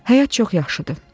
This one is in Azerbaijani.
Həyat çox yaxşıdır.